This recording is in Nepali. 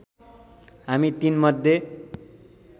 हामी ३ मध्ये